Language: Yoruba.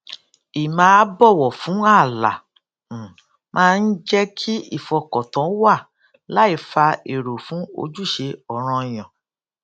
ì máa bọwọ fún ààlà um máa ń jẹ kí ìfọkàntán wà láì fa èrò fún ojúṣe ọ̀ranyàn